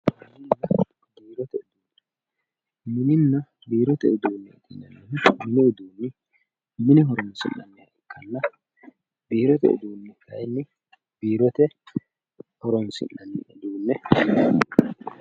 Mininna biirote uduunne mininna biirote uduunne yineemmohu mini uduunni mine horoonsi'nanniha ikkanna biirote uduunni kayinni biirote horoonsi'nanni uduunneeti